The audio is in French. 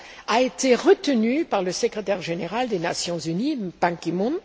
fière a été retenue par le Secrétaire général des Nations unies, Ban Ki moon.